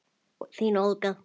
Þín Olga.